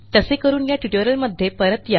तसे करून या ट्युटोरियलमध्ये परत या